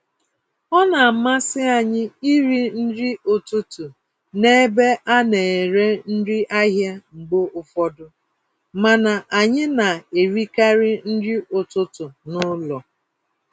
Ọ namasị anyị irí nri ụtụtụ n'ebe a nere nri ahịa mgbe ụfọdụ, mana anyị na-erikarị nri ụtụtụ n'ụlọ.